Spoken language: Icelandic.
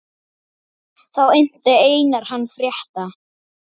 Þá innti Einar hann frétta.